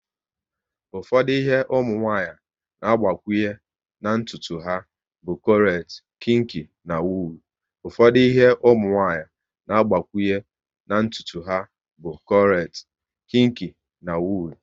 Ụfọdụ ihe ụmụnwanyị na agbakwunye na ntụtu ha bụ krochet, kinki na wuul